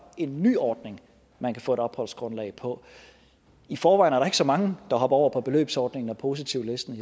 en ny ordning man kan få et opholdsgrundlag på i forvejen er der ikke så mange der hopper over på beløbsordningen og positivlisten